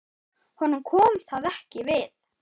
Honum kom það ekki við.